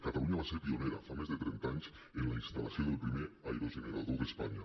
catalunya va ser pionera fa més de trenta anys en la instal·lació del primer aerogenerador d’espanya